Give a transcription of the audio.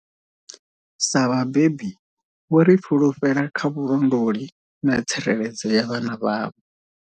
Sa vhabebi, vho ri fhulufhela kha vhulondoli na tsireledzo ya vhana vhavho.